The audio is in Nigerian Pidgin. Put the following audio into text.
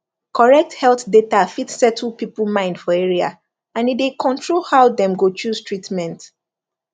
correct health data fit settle people mind for area and e dey control how dem go choose treatment